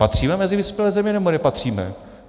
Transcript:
Patříme mezi vyspělé země, nebo nepatříme?